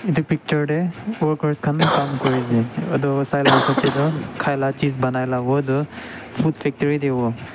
edu picture tae workers khan Kam kurize edu Sai la hisap taetu khaila chis banaila howo edu food factory tae howo.